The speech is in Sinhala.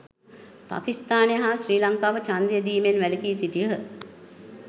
පකිස්ථානය හා ශ්‍රී ලංකාව ඡන්දය දීමෙන් වැලකී සිටියහ